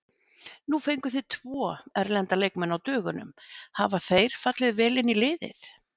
Nú fenguð þið tvo erlenda leikmenn á dögunum, hafa þeir fallið vel inn í liðið?